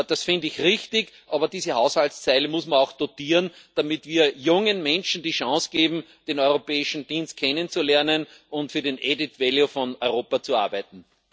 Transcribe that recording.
Das finde ich richtig, aber diese Haushaltszeile muss man auch dotieren, damit wir jungen Menschen die Chance geben, den europäischen Dienst kennenzulernen und für den added value von Europa zu arbeiten.